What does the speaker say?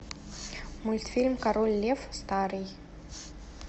мультфильм король лев старый